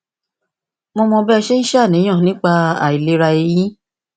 mo mọ bí ẹ ṣe ń ṣàníyàn nípa ìlera eyín